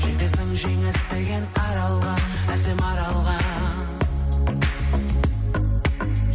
жетесің жеңіс деген аралға әсем аралға